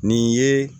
Nin ye